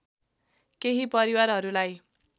केही परिवारहरूलाई